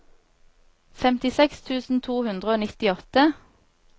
femtiseks tusen to hundre og nittiåtte